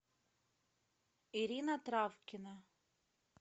ирина травкина